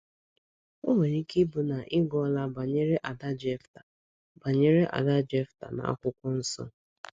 O nwere ike ịbụ na ị gụọla banyere ada Jefta banyere ada Jefta na akwụkwọ nso.